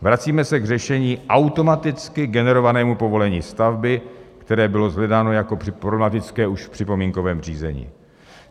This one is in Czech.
Vracíme se k řešení automaticky generovaného povolení stavby, které bylo shledáno jako problematické už v připomínkovém řízení.